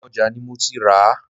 Inú ojà ni mo ti ràá